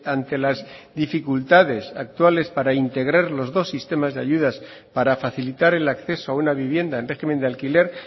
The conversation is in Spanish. ante las dificultades actuales para integrar los dos sistemas de ayudas para facilitar el acceso a una vivienda en régimen de alquiler